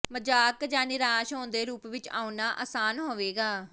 ਮਜ਼ਾਕ ਜਾਂ ਨਿਰਾਸ਼ ਹੋਣ ਦੇ ਰੂਪ ਵਿੱਚ ਆਉਣਾ ਆਸਾਨ ਹੋਵੇਗਾ